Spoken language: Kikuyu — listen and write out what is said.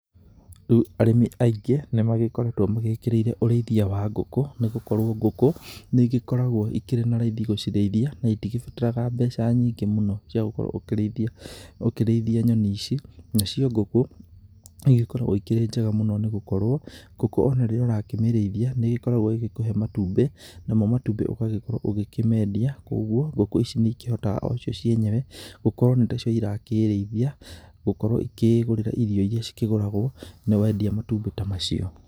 Rĩu arĩmi aingĩ, nĩ magĩkorwtwo mekĩrĩire ũrĩithia wa ngũkũ, nĩ gũkorwo ngũkũ, nĩ igĩkoragwo irĩ na raithi gũcirĩithia, na itigĩbataraga mbeca nyingĩ mũno, cia gũkorwo ũgĩkĩrĩithia nyoni ici, nacio ngũkũ, nĩ igĩkoragwo ikĩrĩ njega mũno nĩ gũkorwo, ngũkũ ona rĩrĩa ũrakĩmĩrĩithia, nĩgĩkoragwo ĩgĩkũhe matumbĩ, namo matumbĩ ũgagĩgĩkoo ũkĩmendia, koguo, ngũkũ ici nĩikihotaga o cio cienyewe gũkorwo nĩtacio irakĩrĩithia, gũkorwo ikiĩgũrĩra irio iria cikĩgũragwo nĩ wendia matumbĩ ta macio.